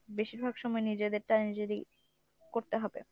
বেশিরভাগ সময় নিজেদেরটাই নিজেরই করতে হবে